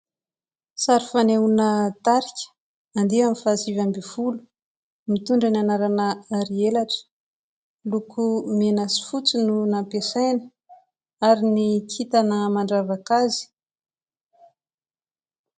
Sary faneona tarika andihany faha sivy ambiny folo, mitondra ny anarana "Hary elatra", loko mena sy fotsy no nampiasaina ary ny kitana mandravaka azy.